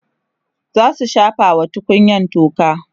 zasu shafa wa tukunyan toka